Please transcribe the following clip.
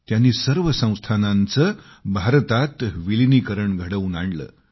त्यांनी सर्व संस्थानांचं भारतात विलीनीकरण घडवून आणलं